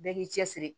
Bɛɛ k'i cɛ siri